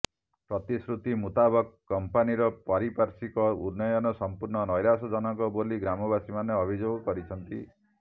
ପ୍ରତିଶ୍ରୁତି ମୁତାବକ କମ୍ପାନୀର ପାରିପାଶ୍ୱିର୍କ ଉନ୍ନୟନ ସମ୍ପୂର୍ଣ୍ଣ ନୈରାଶ୍ୟ ଜନକ ବୋଲି ଗ୍ରାମବାସୀମାନେ ଅଭିଯୋଗ କରିଛନ୍ତି